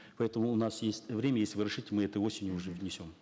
поэтому у нас есть время если вы разрешите мы этой осенью уже внесем